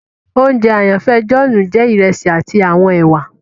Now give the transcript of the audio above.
Ounjẹ àyànfẹ John jẹ iresi ati awọn èwà